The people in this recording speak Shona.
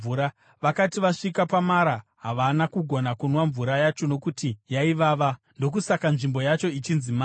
Vakati vasvika paMara, havana kugona kunwa mvura yacho nokuti yaivava. (Ndokusaka nzvimbo yacho ichinzi Mara.)